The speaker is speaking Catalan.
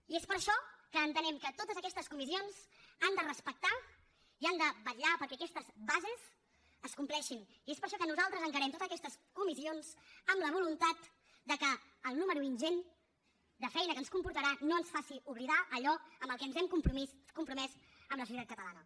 i és per això que entenem que totes aquestes comissions les han de respectar i han de vetllar perquè aquestes bases es compleixin i és per això que nosaltres encarem totes aquestes comissions amb la voluntat que el número ingent de feina que ens comportarà no ens faci oblidar allò amb què ens hem compromès amb la societat catalana